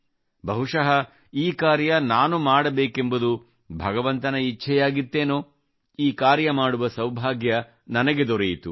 ಬಹುಶಃ ಈ ಕಾರ್ಯ ನಾನು ಮಾಡಬೇಕೆಂಬುದು ಭಗವಂತನ ಇಚ್ಛೆಯಾಗಿತ್ತೇನೋ ಈ ಕಾರ್ಯ ಮಾಡುವ ಸೌಭಾಗ್ಯ ನನಗೆ ದೊರೆಯಿತು